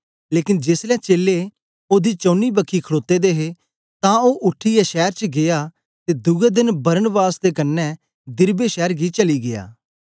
लेकन जेसलै चेलें ओदे चौनी बखी खड़ोते दे हे तां ओ उठीयै शैर च गीया ते दुए देन बरनबास दे कन्ने दिरबे शैर गी चली गीया